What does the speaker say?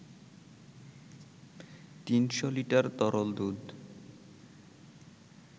৩০০ litre তরল দুধ